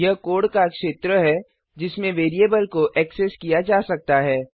यह कोड का क्षेत्र है जिसमें वेरिएबल को ऐक्सेस किया जा सकता है